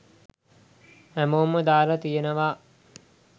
හැමෝම දාලා තියෙනවා